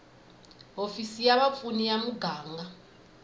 hofisi ya vapfuni ya muganga